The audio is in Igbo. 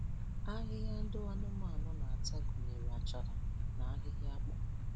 Ahịhịa ndị anụmanụ na-ata gụnyere achara na ahịhịa akpụ